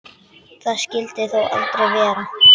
Það skyldi þó aldrei vera?